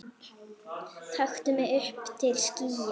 taktu mig upp til skýja